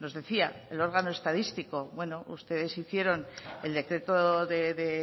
nos decía el órgano estadístico bueno ustedes hicieron el decreto de